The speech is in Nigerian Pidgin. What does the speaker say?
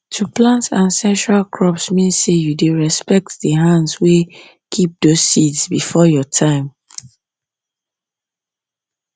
to plant ancestral crops mean say you dey respect the hands wey keep those seeds before your time